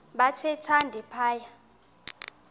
bathe thande phaya